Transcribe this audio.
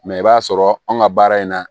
Mɛ i b'a sɔrɔ anw ka baara in na